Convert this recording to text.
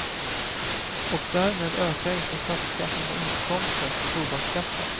Och därmed ökar inte statskassans inkomster från tobaksskatten.